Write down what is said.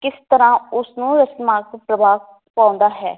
ਕਿਸ ਤਰਾਂ ਉਸ ਨੂੰ ਪ੍ਰਭਾਵ ਪਾਉਂਦਾ ਹੈ